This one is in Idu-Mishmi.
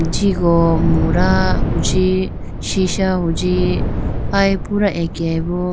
Jigo muda chi sisha hunji aye pura akeyayi bo